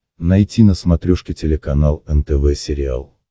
найти на смотрешке телеканал нтв сериал